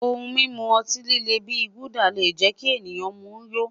Ohun mimu ọti-lile bi Gulder le jẹ ki ẹnikan mu yó